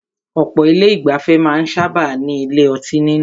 Ọ̀pọ̀ ilé ìgbafẹ́ máà ń sábáà ní ilé ọtí nínú.